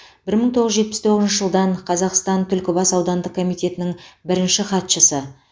бір мың тоғыз жүз жетпіс тоғызыншы жылдан қазақстан түлкібас аудандық комитетінің бірінші хатшысы